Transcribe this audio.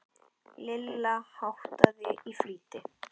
Lilla háttaði í flýti.